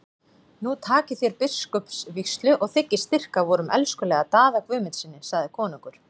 Nú takið þér biskupsvígslu og þiggið styrk af vorum elskulega Daða Guðmundssyni, sagði konungur.